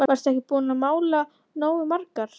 Varstu ekki búin að mála nógu margar?